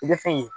I bɛ fɛn ye